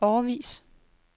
årevis